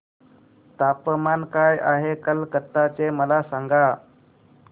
तापमान काय आहे कलकत्ता चे मला सांगा